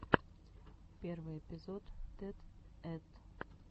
первый эпизод тед ед